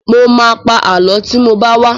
Mo ma pa Àlọ́ tí mo bá wá